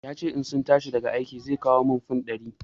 Ya ce in sun tashi daga aiki zai kawo min fan ɗari.